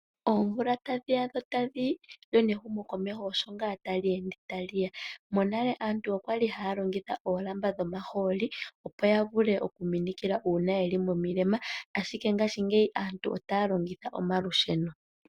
Oomvula tadhi ya dho tadhi yi, lyo nehumokomeho osho ngaa tali ende tali ya. Monale aantu oya li haya longitha oolamba dhomahooli, opo ya vule okuminikila uuna ye li momilema, ashike ngashingeyi aantu otaya longitha omalusheno.